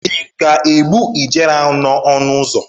Ị ga-egbu ijere ahụ n'ọnụ ụzọ?